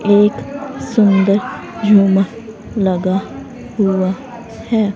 एक सुंदर झुमर लगा हुआ है।